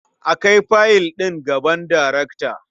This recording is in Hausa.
A kai fayil ɗin gaban darekta.